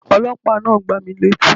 Ọlọ́pàá náà gbá mi létí